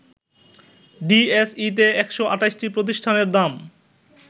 ডিএসইতে ১২৮টি প্রতিষ্ঠানের দাম